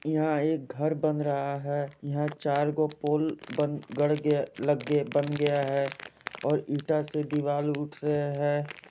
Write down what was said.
यहां एक घर बन रहा है यहां चार गो पोल बन गड के लगे बन गया है और ईटा से दीवार उठ रहे हैं।